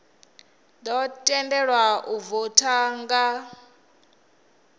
ḓo tendelwa u voutha nga